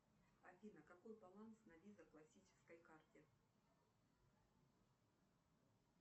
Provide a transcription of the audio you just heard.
афина какой баланс на виза классической карте